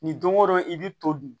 Ni don o don i bɛ to dun